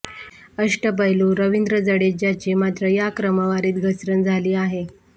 अष्टपैलू रवींद्र जडेजाची मात्र या क्रमवारीत घसरण झाली आहे